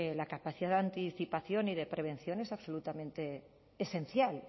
la capacidad de anticipación y de prevención es absolutamente esencial